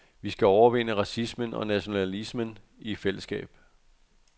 Vi skal overvinde racismen og nationalismen i fællesskab.